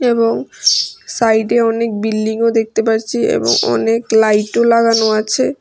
এবং সাইডে অনেক বিল্ডিংও দেখতে পাচ্ছি এবং অনেক লাইটও লাগানো আছে।